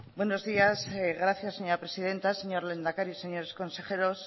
buenos días gracias señora presidenta señor lehendakari señores consejeros